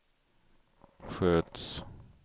sköts